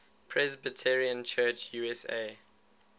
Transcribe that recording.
presbyterian church usa